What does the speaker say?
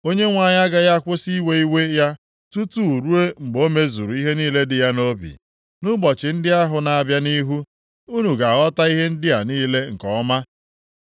Onyenwe anyị agaghị akwụsị iwe iwe ya tutu ruo mgbe o mezuru ihe niile dị ya nʼobi. Nʼụbọchị ndị ahụ na-abịa nʼihu, unu ga-aghọta ihe ndị a niile nke ọma.